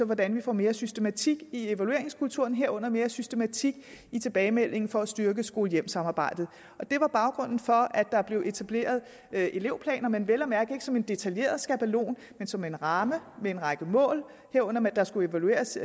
hvordan vi får mere systematik i evalueringskulturen herunder mere systematik i tilbagemeldingen for at styrke skole hjem samarbejdet det var baggrunden for at der blev etableret elevplaner men vel at mærke ikke som en detaljeret skabelon men som en ramme med en række mål herunder at der skulle evalueres